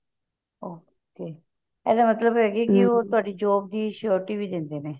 okay ਇਹਦਾ ਮਤਲਬ ਹਾ ਕੀ ਉਹ ਤੁਹਾਡੀ job ਦੀ surety ਵੀ ਦਿੰਦੇ ਨੇ